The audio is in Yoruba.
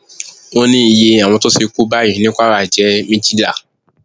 ó ní iye àwọn tó ti kú báyìí ní kwara jẹ méjìlá